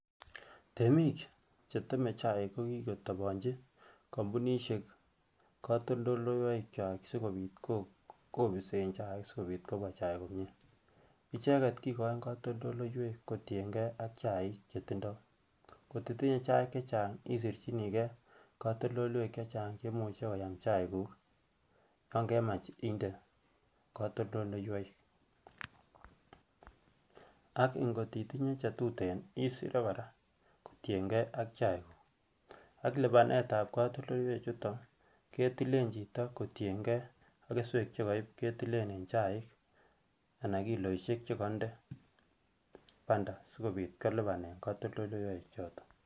Temiik cheteme chaik ko kikotobonchi kompunishek kotoldoleiwek kwaak sikobit kobisen chaik sikobit kobwaa chaik komnyee, icheket kikoin kotoldoleiwek kotieng'e ak chaik chetindo, ko titinye chaik chechang isirchinikee kotoldoleiwek chechang cheimuche koyaam chaikuk yoon kemach indee katoldoleiwek ak ing'ot itinyee chetuten isiree kora kotieng'ee ak chaikuk ak libanetab katoldoleiwe chuton ketilen chito kotieng'ee ak keswek chekoiib ketilen en chaik anan kiloishek chekoinde banta sikobiit kolibanen katoldoleiwe choton.